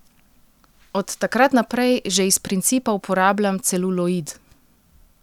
Od takrat naprej že iz principa uporabljam celuloid.